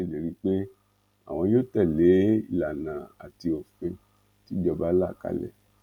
ó ṣèlérí pé àwọn yóò tẹlé ìlànà àti òfin tìjọba là kalẹ